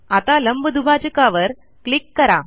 आता लंबदुभाजकावर क्लिक करा